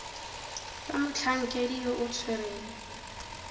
fa motlhankedi yo o tshwereng